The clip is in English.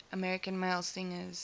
american male singers